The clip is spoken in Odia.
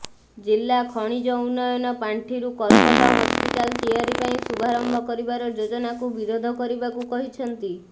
ଜିଲ୍ଲା ଖଣିଜ ଉନ୍ନୟନ ପାଣ୍ଠିରୁ କର୍କଟ ହସପିଟାଲ ତିଆରି ପାଇଁ ଶୁଭାରମ୍ଭ କରିବାର ଯୋଜନାକୁ ବିରୋଧ କରିବାକୁ କହିଛନ୍ତି